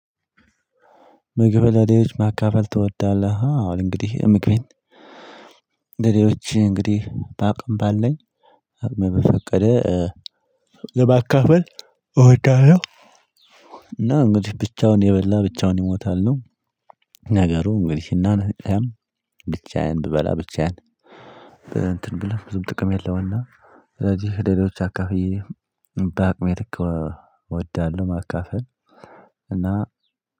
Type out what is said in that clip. ምግብ ለሌሎች ማካፈል ትወዳለህ? አዎ እንግዲህ እምግቤን ለሌሎች እንግዲህ በአቅም ባለኝ አቅሜ በፈቀደ ለማካፈል እወዳለሁ እና እንግዲህ ብቻውን የበላ ብቻውን ይሞታል ነው ነገሩ እንግዲህ እና ነገር ብቻዬን ብበላ ብቻዬን እንትን ብለህ ብዙም ጥቅም የለውም እና ስለዚህ ለሌሎች አካፍዬ በአቅሜ ልክ እወዳለሁ ማካፈል እና